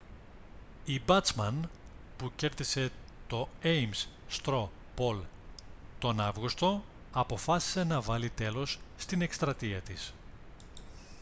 η μπάτσμαν που κέρδισε το έιμς στρο πολ τον αύγουστο αποφάσισε να βάλει τέλος στην εκστρατεία της